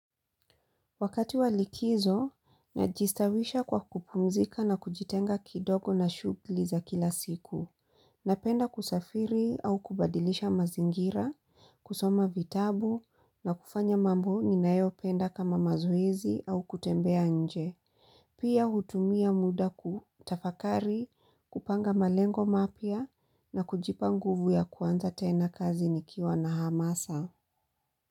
Wakati walikizo, najistawisha kwa kupumzika na kujitenga kidogo na shugli za kila siku. Napenda kusafiri au kubadilisha mazingira, kusoma vitabu na kufanya mambo ninayo penda kama mazoezi au kutembea nje. Pia hutumia muda kutafakari, kupanga malengo mapya na kujipa nguvu ya kwanza tena kazi nikiwa na hamasa.